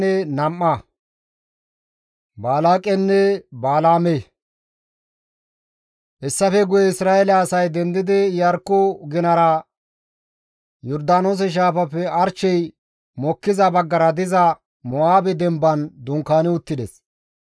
Hessafe guye Isra7eele asay dendidi Iyarkko ginara Yordaanoose shaafappe arshey mokkiza baggara diza Mo7aabe demban dunkaani uttides.